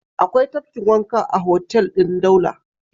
Akwai tafkin wanka a hotel ɗin Daula.